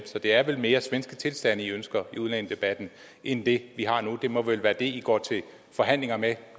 så det er vel mere svenske tilstande i ønsker i udlændingedebatten end det vi har nu det må vel være det i går til forhandlinger med